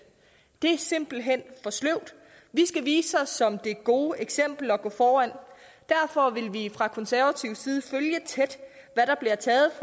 det er simpelt hen for sløvt vi skal vise os som det gode eksempel og gå foran derfor vil vi fra konservativ side følge tæt hvad der bliver taget